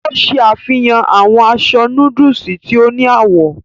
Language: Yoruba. O ṣe àfihàn awọn aṣọ nọọsi tí o ni awọ.